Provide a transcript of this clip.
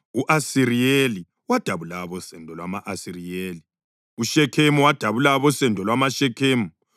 u-Asiriyeli wadabula abosendo lwama-Asiriyeli; uShekhemu wadabula abosendo lwamaShekhemu;